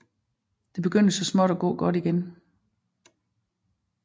Det begyndte så småt at gå godt igen